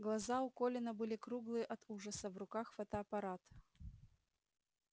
глаза у колина были круглые от ужаса в руках фотоаппарат